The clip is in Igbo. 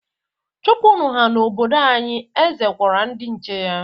Chụpụnụ ha n'obodo anyị! Eze gwara ndị nche ya.